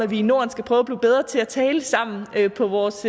vi i norden skal prøve at blive bedre til at tale sammen på vores